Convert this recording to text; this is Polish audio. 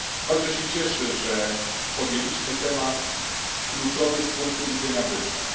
Bardzo się cieszę, że podjęliśmy temat kluczowy z punktu widzenia wyzwań.